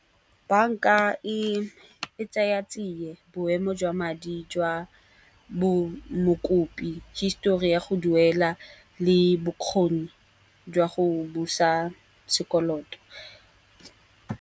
Banka e tsaya tsiye, boemo jwa madi jwa bo mokopi, histori ya go duela le bokgoni jwa go busa sekoloto.